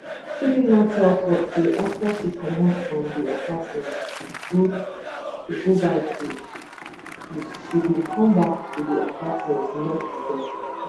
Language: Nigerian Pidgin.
chidinma tell court say afta she comot from di apartment to go buy food and juice she bin comeback to di apartment knock di door